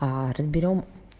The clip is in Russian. а разберём